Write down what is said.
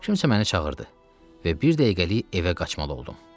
Kimsə məni çağırdı və bir dəqiqəlik evə qaçmalı oldum.